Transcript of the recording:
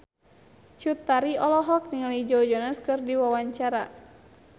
Cut Tari olohok ningali Joe Jonas keur diwawancara